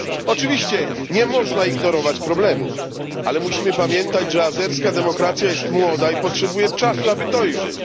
Oczywiście nie można ignorować problemów, ale musimy pamiętać, że azerska demokracja jest młoda i potrzebuje czasu, aby dojrzeć.